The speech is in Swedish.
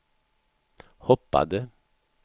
hoppade